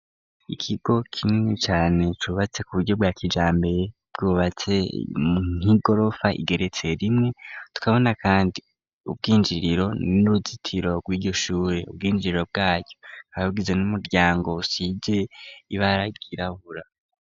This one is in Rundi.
Ikigo kinini cane cubatse ku buryo bwa kijambere bwubatse nkigorofa igeretse rimwe tukabona, kandi ubwinjiriro n'uruzitiro rw'igishure ubwinjiriro bwacyo abugize n'umuryango usije ibaragirahura.